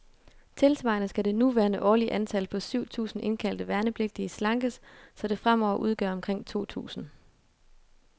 Tilsvarende skal det nuværende årlige antal, på syv tusinde indkaldte værnepligtige, slankes, så det fremover udgør omkring to tusinde.